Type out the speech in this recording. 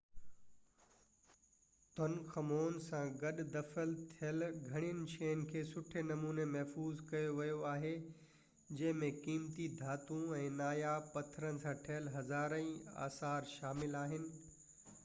Tutankhamun سان گڏ دفن ٿيل گهڻين شين کي سٺي نموني محفوظ ڪيو ويو آهي جنهن ۾ قيمتي ڌاتون ۽ ناياب پٿرن سان ٺهيل هزارين آثار شامل آهن